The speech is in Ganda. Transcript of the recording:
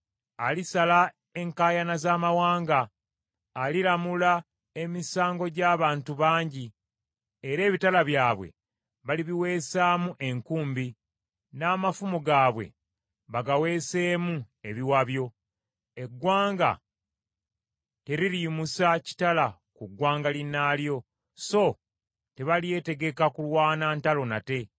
Alisala enkaayana z’amawanga, aliramula emisango gy’abantu bangi, era ebitala byabwe balibiwesaamu enkumbi, n’amafumu gaabwe bagaweeseemu ebiwabyo. Eggwanga teririyimusa kitala ku ggwanga linnaalyo, so tebalyetegeka kulwana ntalo nate.